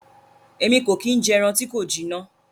Èmí ko ki n jẹ ẹran ti ko jina.